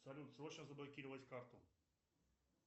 салют срочно заблокировать карту